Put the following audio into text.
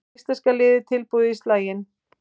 Íslenska liðið tilbúið í slaginn